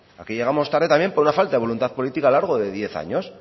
aquí llegamos tarde también por una falta de voluntad política a lo largo de diez años